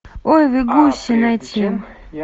ой вы гуси найти